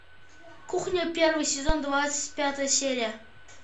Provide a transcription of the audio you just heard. кухня первый сезон двадцать пятая серия